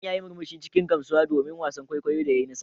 Manajan ya yi murmushi cikin gamsuwa domin wasan kwaikwayo ya yi nasara.